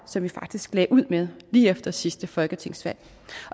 som vi faktisk lagde ud med lige efter sidste folketingsvalg